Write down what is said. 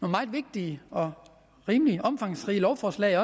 meget vigtige og rimelig omfangsrige lovforslag